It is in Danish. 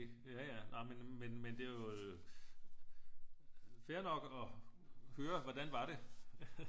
Ja ja nej men men det er jo fair nok at høre hvordan var det